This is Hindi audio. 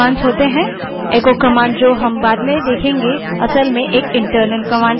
echo command जिसे हम बाद में देखेंगे वास्तव में एक internal command है